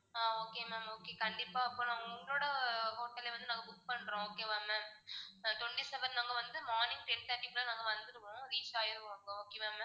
ஆஹ் okay ma'am okay கண்டிப்பா அப்போ நான் உங்களோட hotel ல்ல வந்து நாங்க book பண்றோம் okay வா ma'am twenty-seven நம்ம வந்து morning ten thirty க்குலாம் நாங்க வந்துருவோம் reach ஆயிருவோம் okay வா ma'am